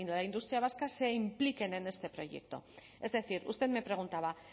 la industria vasca se impliquen en este proyecto es decir usted me preguntaba